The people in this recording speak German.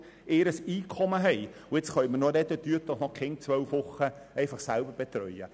Nun können wir noch über «Betreut doch einfach eure Kinder während zwölf Wochen selber!» sprechen.